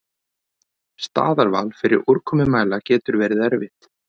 Staðarval fyrir úrkomumæla getur verið erfitt.